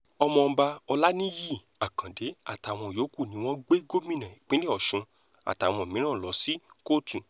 ọmọọba olaniyi akande àtàwọn yòókù ni wọ́n gbé gómìnà ìpínlẹ̀ ọ̀ṣun àtàwọn mìíràn lọ sí kóòtù